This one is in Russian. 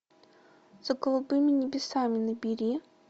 за голубыми небесами набери